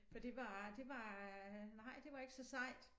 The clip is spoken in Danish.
For det var det var nej det var ikke så sejt